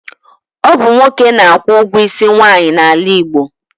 Ọ bụ nwoke na-akwụ ọgwụ isi nwaanyị n'ala Igbo.